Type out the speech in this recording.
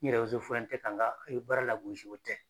N yɛrɛ tanga i be baara lagosi o tɛ.